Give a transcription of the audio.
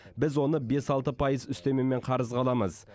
біз оны бес алты пайыз үстемемен қарызға аламыз